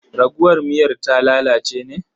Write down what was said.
Raguwar miyar ta lalace ne?